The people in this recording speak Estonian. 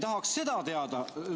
Tahaks seda teada.